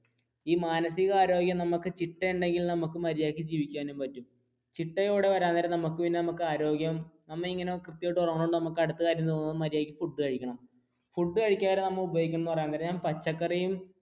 ഈ മാനസിക ആരോഗ്യം നമ്മുക്ക് ചിട്ടയുണ്ടെങ്കിൽ നമുക്ക് മര്യാദക്ക് ജീവിക്കുവാനും പറ്റും ചിട്ടയോടെ വരാൻ നേരം നമുക്ക് പിന്നെ നമുക്ക് ആരോഗ്യം നമ്മെ ഇ ങ്ങനെ കൃത്യമായി ഉറങ്ങുന്ന കൊണ്ട് നമുക്ക് അടുത്ത കാര്യം തോന്നും മര്യാദയ്ക്ക് food കഴിക്കണ food കഴിക്കുമ്പോൾ നമ്മൾ ഉപയോഗിക്കുന്നത് എന്ന് പറയുന്നത് പച്ചക്കറിയും